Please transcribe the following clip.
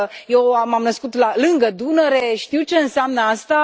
Eu m am născut lângă Dunăre, știu ce înseamnă asta.